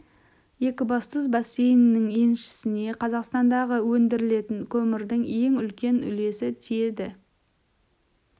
екібастұз бассейнінің еншісіне қазақстандағы өндірілетін көмірдің ең үлкен үлесі тиеді